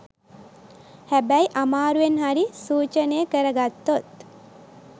හැබැයි අමාරුවෙන් හරි සූචනය කරගත්තොත්